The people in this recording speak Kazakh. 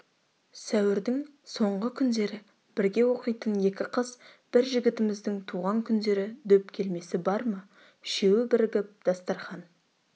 сәуірдің соңғы күндері бірге оқитын екі қыз бір жігітіміздің туған күндері дөп келмесі бар ма үшеуі бірігіп дастархан